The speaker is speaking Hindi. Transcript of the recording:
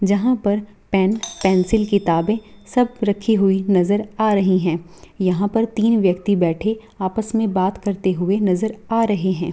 जहाँ पर पेन पेंसिल किताबें सब रखी हुई नजर आ रही हैं यहाँ पर तीन व्यक्ति साथ में बातें करते नजर आ रहे हैं।